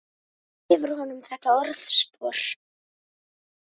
Hver gefur honum þetta orðspor?